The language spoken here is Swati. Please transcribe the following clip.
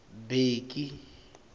bheki